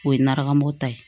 O ye nata mɔta ye